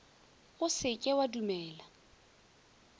o se ke wa dumela